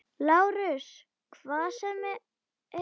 LÁRUS: Hvað sem er.